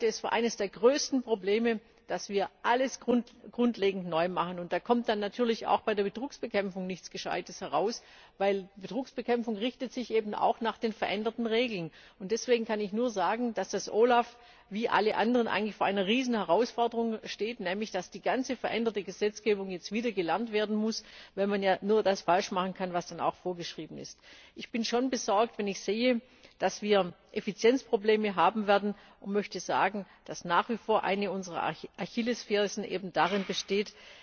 Ich halte es für eines der größten Probleme, dass wir alles grundlegend neu machen. Da kommt dann natürlich auch bei der Betrugsbekämpfung nichts Gescheites heraus, weil Betrugsbekämpfung sich eben auch nach den veränderten Regeln richtet. Deswegen kann ich nur sagen, dass das OLAF wie alle anderen eigentlich vor einer riesigen Herausforderung steht, nämlich dass die ganze veränderte Gesetzgebung jetzt wieder gelernt werden muss, weil man ja nur das falsch machen kann, was dann auch vorgeschrieben ist. Ich bin schon besorgt, wenn ich sehe, dass wir Effizienzprobleme haben werden, und möchte sagen, dass nach wie vor eine unserer Achillesfersen eben darin besteht,